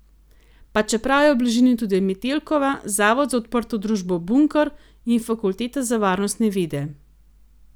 Pa čeprav je v bližini tudi Metelkova, zavod za odprto družbo Bunker in fakulteta za varnostne vede.